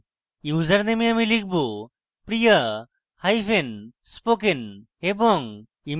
ইউজারনেমে আমি লিখব: priyaspoken এবং